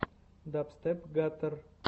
дабстеп гаттер